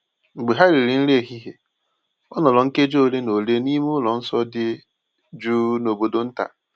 Mgbe ha riri nri ehihie, o nọrọ nkeji ole na ole n’ime ụlọ nsọ dị jụụ n’obodo nta.